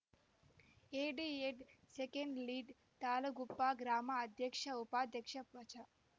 ಎಡಿಎಡ್‌ second lead Talaguppa ಗ್ರಾಮ ಅಧ್ಯಕ್ಷ ಉಪಾಧ್ಯಕ್ಷೆ ವಜಾ